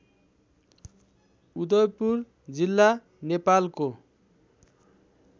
उदयपुर जिल्ला नेपालको